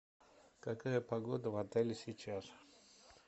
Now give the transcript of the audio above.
какая погода в отеле сейчас